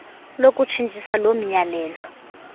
lokutshitshisa loo miyalelo